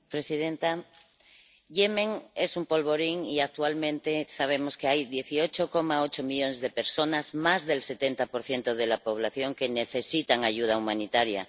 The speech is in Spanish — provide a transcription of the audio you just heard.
Señora presidenta, Yemen es un polvorín y actualmente sabemos que hay 18,8 millones de personas —más del 70 de la población— que necesitan ayuda humanitaria